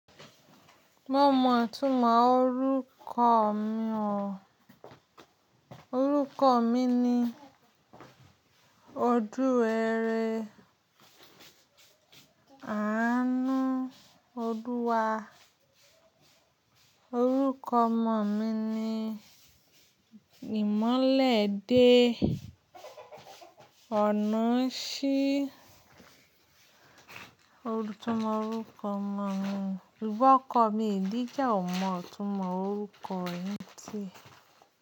Mo mọ̀ itúnmọ̀ orúkọ mi o. Orúkọ mi ni Òdúwẹrẹ Àánú Ólúwà. Orúkọ ọmọ mi ni ìmọ́lẹ̀ dé ọ̀nà ṣí. Ó tún mọ orúkọ ọmọ mi. Ìbọ̀kọ mi ìdí jẹ́ ò mọ̀ ọ̀túnmọ̀ orúkọ ẹni tí.